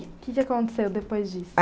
Que que aconteceu depois disso?